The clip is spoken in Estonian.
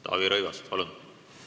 Taavi Rõivas, palun!